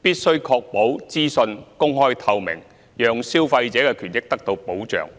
必須確保資訊公開透明，讓消費者的權益得到保障。